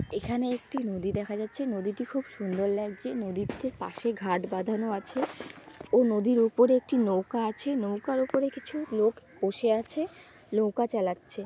এখানে একটি নদী দেখা যাচ্ছে নদীটি খুব সুন্দর লাগছে নদীর ঠিক পাশে ঘাট বাঁধানো আছে ও নদীর উপরে একটি নৌকা আছে নৌকার উপরে কিছু লোক বসে আছে নৌকা চালাচ্ছে।